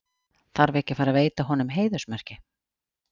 Þarf ekki að fara veita honum heiðursmerki?